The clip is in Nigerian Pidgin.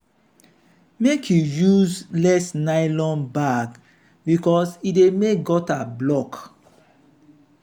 make you use less nylon bag because e dey make gutter block.